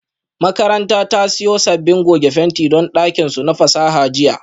Makarantar ta siyo sabbin goge fenti don dakin su na fasaha jiya